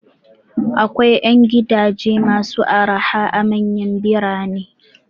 Akwai 'yan gidaje masu araha a manyan birane.